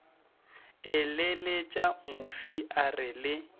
eleletša mofi a re le